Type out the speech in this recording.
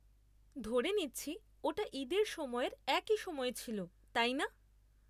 ধরে নিচ্ছি ওটা ঈদের সময়ের একই সময় ছিল, তাই না?